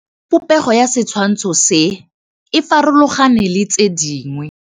Popêgo ya setshwantshô se, e farologane le tse dingwe.